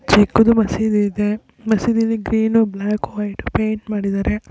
ಚಿಕ್ಕದು ಮಸೀದಿ ಇದೆ ಮಸೀದಿಯಲ್ಲಿ ಗ್ರೀನ್ ಬ್ಲಾಕ್ ವೈಟ್ ಪೈಂಟ್ ಮಾಡಿದಾರೆ.